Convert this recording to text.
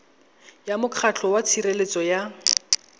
ya mokgatlho wa tshireletso ya